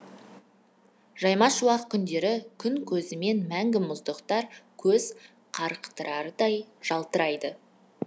жаймашуақ күндері күн көзімен мәңгі мұздақтар көз қарықтырардай жалтырайды